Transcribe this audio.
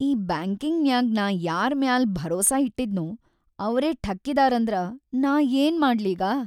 ಈ ಬ್ಯಾಂಕಿಂಗ್‌ನ್ಯಾಗ್ ನಾ ಯಾರ್‌ ಮ್ಯಾಲ್ ಭರೋಸಾ ಇಟ್ಟಿದ್ನೋ ಅವ್ರೇ ಠಕ್ಕಿದಾರಂದ್ರ ನಾ ಯೇನ್‌ ಮಾಡ್ಲೀಗ.